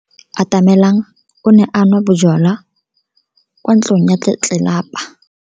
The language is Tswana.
Atamelang o ne a nwa bojwala kwa ntlong ya tlelapa maobane.